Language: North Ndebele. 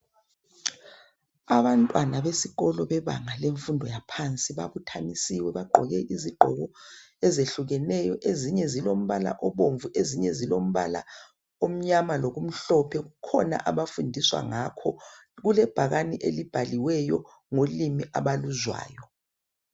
Abantwana besikolo bebanga lemfundo yaphansi babuthanisiwe bagqoke izigqoko ezehlukeneyo .Ezinye zilombala obomvu, ezinye zilombala omnyama lokumhlophe .Kukhona abafundiswa ngakho .Kulebhakani elibhaliweyo ngolimi abaluzwayo .